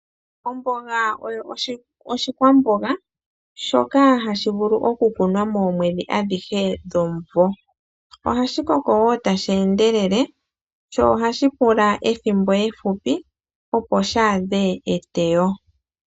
Omboga oyo oshikwamboga shoka hashi vulu oku kunwa moomwedhi adhihe dhomuvo. Ohashi Koko wo tashi endelele sho ohashi pula ethimbo ehupi opo shi adhe eteyo.